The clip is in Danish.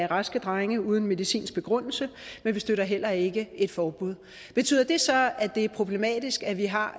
raske drenge uden medicinsk begrundelse men vi støtter heller ikke et forbud betyder det så at det er problematisk at vi har